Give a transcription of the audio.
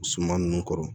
Suma ninnu kɔrɔ